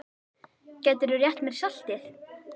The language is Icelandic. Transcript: Gætirðu rétt mér saltið?